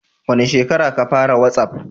Wani shekara a ka fara watsaf?